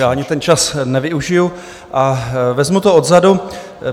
Já ani ten čas nevyužiju a vezmu to odzadu.